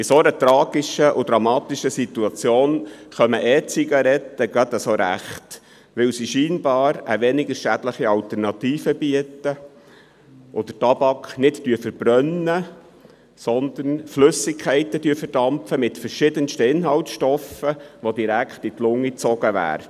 In dieser tragischen und dramatischen Situation kommen E-Zigaretten gerade rechtzeitig, weil sie scheinbar eine weniger schädliche Alternative bieten, da der Tabak nicht verbrannt wird, sondern Flüssigkeiten mit verschiedensten Inhaltsstoffen verdampft und dabei direkt in die Lunge gezogen werden.